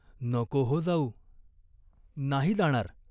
नको हो जाऊ." "नाही जाणार.